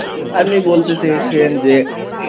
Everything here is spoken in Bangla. আপনি বলতে চেয়েছিলেন যে